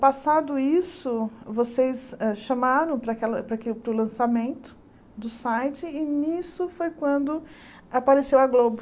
Passado isso, vocês hã chamaram para aquela para aque para o lançamento do site e nisso foi quando apareceu a Globo.